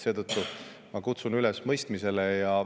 Seetõttu ma kutsun üles mõistmisele.